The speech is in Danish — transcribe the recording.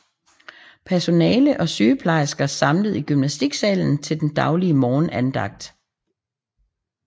Personale og sygeplejersker samlet i gymnastiksalen til den daglige morgenandagt